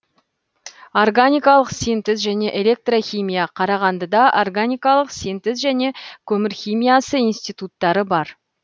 органикалық синтез және электрохимия қарағандыда органикалық синтез және көмір химиясы институттары бар